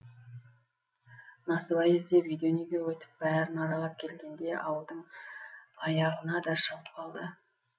насыбай іздеп үйден үйге өтіп бәрін аралап келгенде ауылдың аяғына да шығып қалды